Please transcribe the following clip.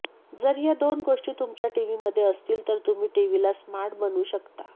जर या दोन गोष्टी तुमच्या टिव्हीमध्ये असतील तर तुम्ही टिव्हीला स्मार्ट बनवू शकता